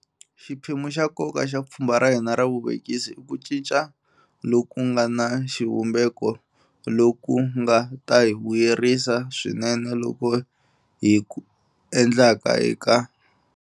Xiphemu xa nkoka xa pfhumba ra hina ra vuvekisi i ku cinca loku nga na xivumbeko loku nga ta hi vuyerisa swinene loku hi ku endlaka eka.